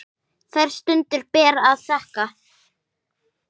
Þær stundir ber að þakka.